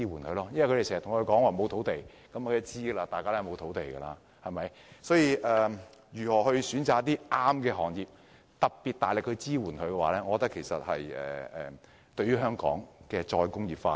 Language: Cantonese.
政府經常說沒有土地，大家都是知道的，所以要挑選一些合適的行業，並給予大力支援，我認為會有助香港再工業化。